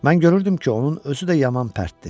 Mən görürdüm ki, onun özü də yaman pərtdi.